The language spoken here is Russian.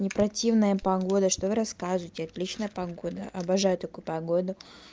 не противная погода что вы расскажите отличная погода обожаю такую погоду